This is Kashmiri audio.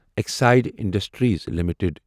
Exide Industries limited